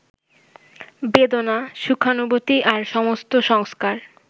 বেদনা, সুখানুভূতি আর সমস্ত সংস্কার